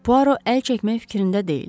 Puaro əl çəkmək fikrində deyildi.